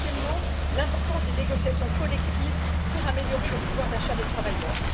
quatrièmement, souligner l'importance des négociations collectives pour améliorer le pouvoir d'achat des travailleurs